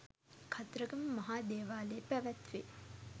කතරගම මහා දේවාලයේ පැවැත්වේ.